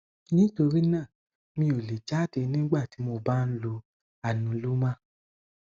nítorí náà mi ò lè jáde nígbà tí mo bá ń lo anuloma